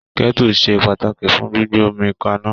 Kẹ̀tú se pàtàkì fún gbígbé omi k'aná.